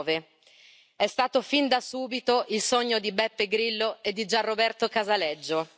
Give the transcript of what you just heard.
2009. È stato fin da subito il sogno di Beppe Grillo e di Gian Roberto Casaleggio.